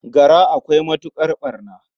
Gara akwai matuƙar ɓarna.